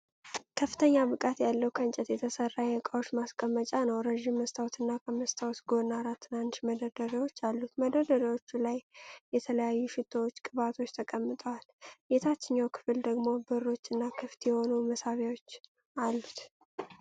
ከፍተኛ ብቃት ያለው ከእንጨት የተሠራ የእቃዎች ማስቀመጫ ነው። ረጅም መስታወትና ከመስታወቱ ጎን አራት ትናንሽ መደርደሪያዎች አሉት። መደርደሪያዎቹ ላይ የተለያዩ ሽቶዎችና ቅባቶች ተቀምጠዋል፣ የታችኛው ክፍል ደግሞ በሮችና ክፍት የሆኑ መሳቢያዎች አሉት።